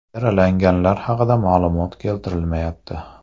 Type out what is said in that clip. Yaralanganlar haqida ma’lumot keltirilmayapti.